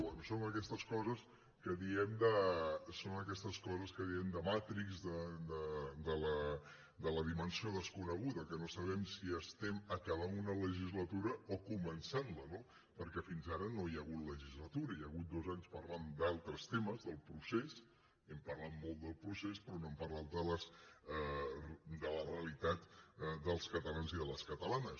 bé són aquestes coses que diem de matrixmensió desconeguda que no sabem si estem acabant una legislatura o començantla no perquè fins ara no hi hagut legislatura hi ha hagut dos anys parlant d’altres temes del procés hem parlat molt del procés però no hem parlat de la realitat dels catalans i de les catalanes